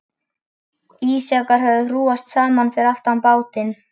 Ísjakar höfðu hrúgast saman fyrir aftan bátinn.